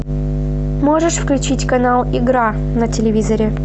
можешь включить канал игра на телевизоре